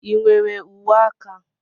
Ị nwere uwe aka?